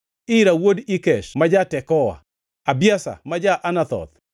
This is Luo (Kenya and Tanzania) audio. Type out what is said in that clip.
Ira wuod Ikesh ma ja-Tekoa, Abiezer ma ja-Anathoth,